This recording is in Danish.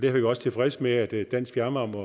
er vi også tilfredse med at dansk fjernvarme